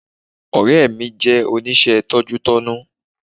Ọ̀rẹ́ mi jẹ́ oníṣẹ́ tọ́jútọ́nu